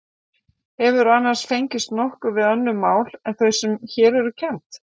Hefurðu annars fengist nokkuð við önnur mál en þau sem hér eru kennd?